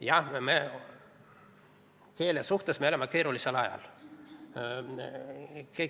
Jah, keele suhtes me elame keerulisel ajal.